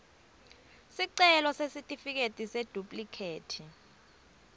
sicelo sesitifiketi seduplikhethi